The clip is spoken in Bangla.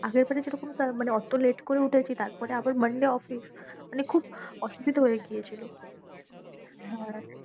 আগের বারে যেরকম মানে ওতো late করে উঠেছি, তারপরে আবার monday অফিস। মানে খুব অসুবিধা হয়ে গিয়েছিলো।